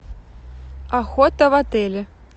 охота в отеле